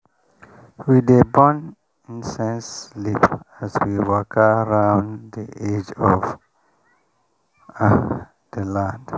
we dey burn incense leaf as we waka round the edge of the land.